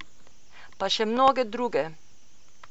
Pa še mnoge druge.